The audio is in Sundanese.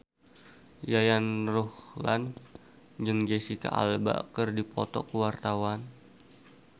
Yayan Ruhlan jeung Jesicca Alba keur dipoto ku wartawan